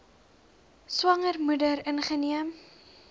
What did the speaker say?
swanger moeder ingeneem